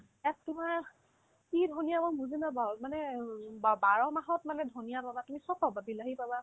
তোমাৰ কিমান কি ধনিয়া মই বুজি পোৱা নাই মানে অ বা বা বাৰমাহত মানে ধনিয়া গজা তুমি চব পাবা বিলাহী পাবা